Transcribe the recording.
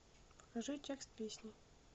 покажи текст песни